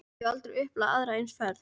Ég hef aldrei upplifað aðra eins ferð.